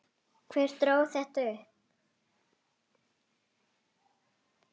Hver dró þetta upp?